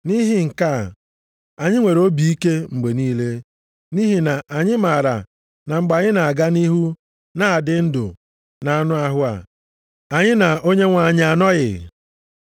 Nʼihi nke a, anyị nwere obi ike mgbe niile, nʼihi na anyị maara na mgbe anyị na-aga nʼihu na-adị ndụ nʼanụ ahụ a, anyị na Onyenwe anyị anọghị.